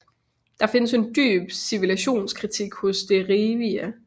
Der findes en dyb civilisationskritik hos Derieva